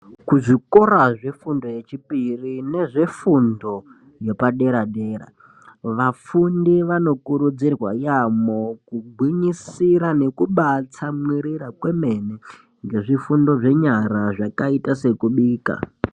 Kuzvikora zvefundo iri mberi nefundo yepadera dera, vafundi vanokurudzirwa yaambo kugwinyisira nekubaatsamwirira. kwemene ngezvifundo zvenyara zvakaita sekubika